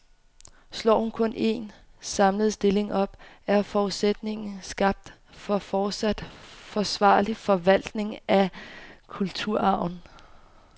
Slår hun kun en, samlet stilling op, er forudsætningen skabt for fortsat forsvarlig forvaltning af kulturarven.